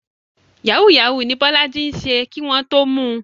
Yahoo yahoo ní Bọ́lájí ń ṣe kí wọ́n tó mu.